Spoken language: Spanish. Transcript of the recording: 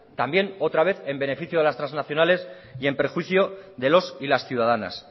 también otra vez en beneficio de las transnacionales y en perjuicio de los y las ciudadanas